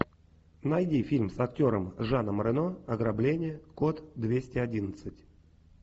найди фильм с актером жаном рено ограбление код двести одиннадцать